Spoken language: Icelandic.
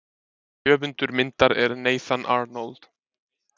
Höfundur myndar er Nathan Arnold.